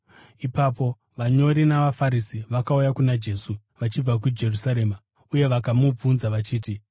Ipapo vanyori navaFarisi vakauya kuna Jesu vachibva kuJerusarema uye vakamubvunza vachiti,